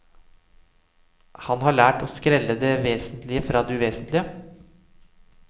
Han har lært å skrelle det vesentlige fra det uvesentlige.